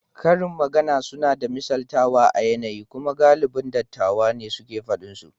Karin magana suna da misaltawa a yanayi kuma galibin dattawa ne ke faɗin su.